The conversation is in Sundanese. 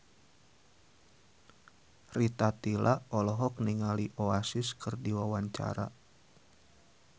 Rita Tila olohok ningali Oasis keur diwawancara